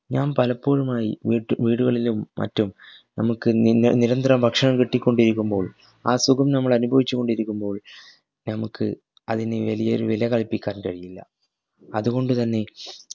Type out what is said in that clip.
ഞാൻ പലപ്പോഴുമായി വീട്ടി വീടുകളിലും മറ്റും നമ്മക്ക് നിന്നെ നിരന്തരം ഭക്ഷണം കിട്ടികൊണ്ടിരിക്കുമ്പോൾ ആ സുഖം നമ്മൾ അനുഭവിച്ചു കൊണ്ടിരിക്കുമ്പോൾ നമുക് അതിന്‌ വെലിയൊരു വില കൽപ്പിക്കാൻ കഴിയില്ല അതുകൊണ്ടുതന്നെ